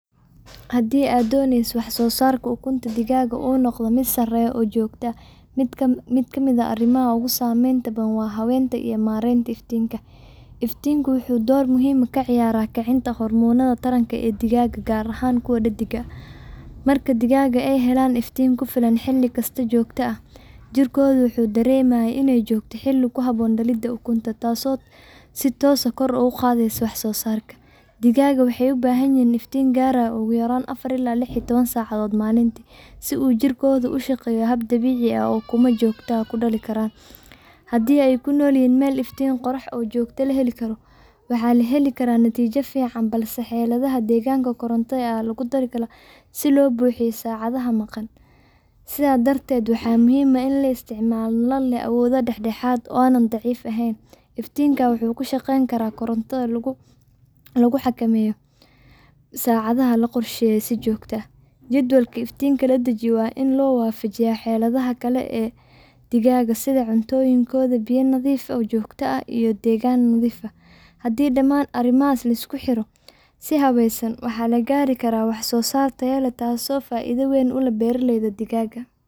Haddii aad dooneyso in wax-soo-saarka ukunta digaagga uu noqdo mid sarreeya oo joogto ah, mid ka mid ah arrimaha ugu saameynta badan waa habeynta iyo maaraynta iftiinka. Iftiinku wuxuu door muhiim ah ka ciyaaraa kicinta hormoonnada taranka ee digaagga, gaar ahaan kuwa dheddigga ah. Marka digaagga ay helaan iftiin ku filan oo xilli kasta joogto u ah, jirkooda wuxuu dareemayaa in ay joogto xilli ku habboon dhalidda ukunta, taasoo si toos ah kor ugu qaadaysa wax-soo-saarka. Digaagga waxay u baahan yihiin iftiin gaaraya ugu yaraan afar iyo toban saacadood maalintii si uu jirkoodu ugu shaqeeyo hab dabiici ah oo ukumo joogto ah lagu dhalin karo. Haddii ay ku nool yihiin meel iftiin qorrax oo joogto ah la heli karo, waxaa la heli karaa natiijo fiican, balse xaaladaha deegaanka qaar gaar ahaan marka ay maalmaha gaaban yihiin, iftiin koronto ayaa lagu daraa si loo buuxiyo saacadaha maqan. Sidaa darteed, waxaa muhiim ah in la isticmaalo nalal leh awood dhexdhexaad ah oo aan ahayn kuwo aad u dhalaalaya ama aad u daciif ah. Iftiinkaasi wuxuu ku shaqeyn karaa koronto lagu xakameeyo oo saacadaheeda la qorsheeyay si joogto ah. jadwalka iftiinka la dejiyo waa in loo waafajiyaa xaaladaha kale ee digaagga sida cuntooyinkooda, biyo nadiif ah oo joogto ah, iyo deegaan nadiif ah. Haddii dhammaan arrimahaas la isku xiro si habaysan, waxaa la gaari karaa wax-soo-saar sare oo leh tayo iyo joogto ah, taasoo faa’iido weyn u leh beeraleyda digaagga.